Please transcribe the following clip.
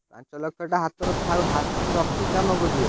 ପାଂଚଲକ୍ଷ୍ ଟା ହାତରେ ଥାଉ ହାତରେ ରଖିକି କାମ କରିବ।